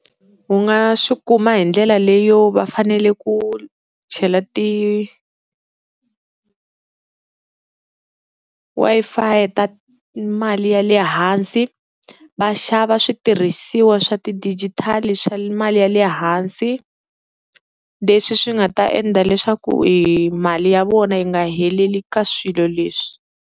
U nga swi kuma hi ndlela leyo va fanele ku chela ti Wi-Fi ta mali ya le hansi, va xava switirhisiwa swa tidijitali swa mali ya le hansi leswi swi nga ta endla leswaku i mali ya vona yi nga heleli ka swilo leswi.